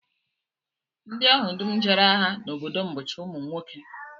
Ndị ahụ dum jere agha n'obodo m bụcha ụmụ nwoke